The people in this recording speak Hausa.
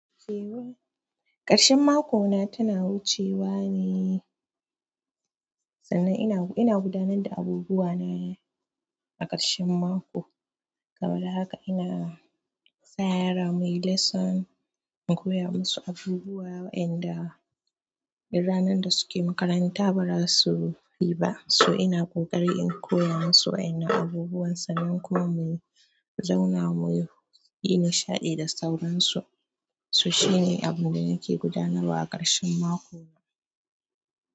Ƙarshen mako na tana wucewa ne sannan ina gudanar da abubuwa na a ƙarshen mako. Kamar haka ina sa yara muyi lesson in koya musu abubuwa wainda ranar da suke makaranta baza suyi ba to ina ƙoƙari in koya musu wainnan abubuwan sannan kuma inyi nishaɗi da sauran su to shine abun da nake gudanarwa a ƙarshen mako na.